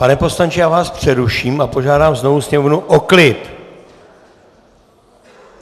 Pane poslanče, já vás přeruším a požádám znovu sněmovnu o klid.